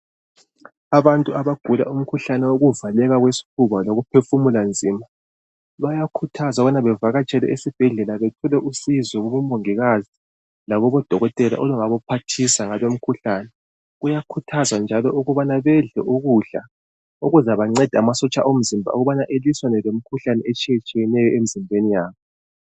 Abantu abagula umkhuhlane wokuvaleka kwesifuba lokuphefumula nzima bayakhuthazwa ukubana bathole usizo kubomongikazi lakubodokotela olungabaphathisa ngalo umkhuhlane kuyakhuthazwa njalo ukubana bedle ukudla okuzabanceda amasotsha emzimba alwisane lemikhuhlane etshiyatshiyeneyo emzimbeni yabo.